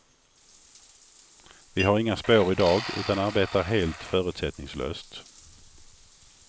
Vi har inga spår idag, utan arbetar helt förutsättningslöst.